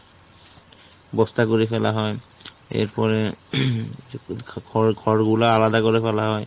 বস্তা করে ফেলা হয়। এর পরে, খড় খড় গুলা আলাদা করে ফেলা হয়।